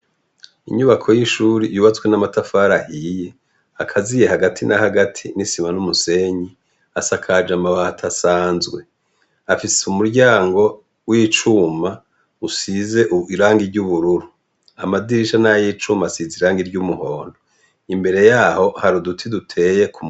Inyubako y' ishure yubatswe n' amatafari ahiye akaziye hagati na hagati n' isima n' umusenyi asakaje amabati asanzwe afise umuryango w' icuma usize irangi ry' ubururu amadirisha ni ayicuma asize irangi ry' umuhondo imbere yaho hari uduti duteye.